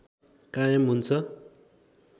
कायम हुन्छ